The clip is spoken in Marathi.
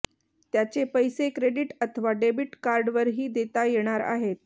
त्याचे पैसे क्रेडिट अथवा डेबिट कार्डवरही देता येणार आहेत